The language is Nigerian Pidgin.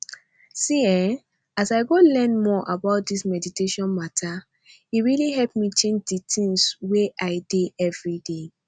see eeh as i go learn more about this meditation matter e really help me change di tins wey i dey everday